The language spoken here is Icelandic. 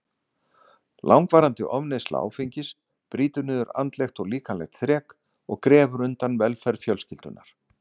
Langvarandi ofneysla áfengis brýtur niður andlegt og líkamlegt þrek og grefur undan velferð fjölskyldunnar.